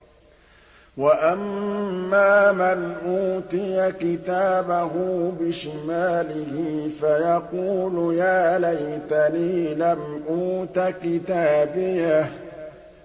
وَأَمَّا مَنْ أُوتِيَ كِتَابَهُ بِشِمَالِهِ فَيَقُولُ يَا لَيْتَنِي لَمْ أُوتَ كِتَابِيَهْ